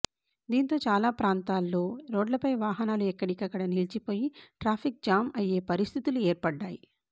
దీంతో చాలా ప్రాంతాల్లో రోడ్లపై వాహనాలు ఎక్కడికక్కడ నిలిచిపోయి ట్రాఫిక్ జామ్ అయ్యే పరిస్థితులు ఏర్పడ్డాయి